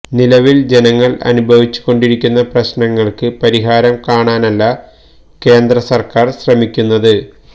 നിലവില് ജനങ്ങള് അനുഭവിച്ച് കൊണ്ടിരിക്കുന്ന പ്രശ്നങ്ങള്ക്ക് പരിഹാരം കാണാനല്ല കേന്ദ്രസര്ക്കാര് ശ്രമിക്കുന്നത്